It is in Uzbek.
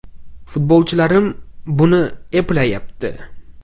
Futbolchilarim buni eplayapti.